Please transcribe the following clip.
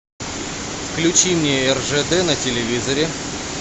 включи мне ржд на телевизоре